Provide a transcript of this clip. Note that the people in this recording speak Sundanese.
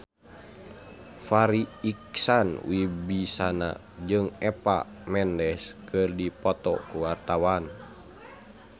Farri Icksan Wibisana jeung Eva Mendes keur dipoto ku wartawan